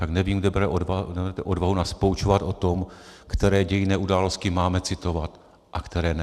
Tak nevím, kde bere odvahu nás poučovat o tom, které dějinné události máme citovat a které ne.